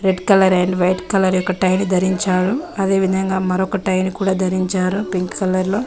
Red colour and white colour యొక్క tie ధరించారు అదే విధంగా మరొక్క టైని కూడా ధరించారు పింక్ కలర్ లో.